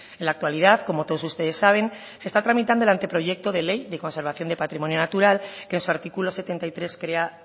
en la actualidad como todos ustedes saben se está tramitando el ante proyecto de ley de conservación de patrimonio natural que en su artículo setenta y tres crea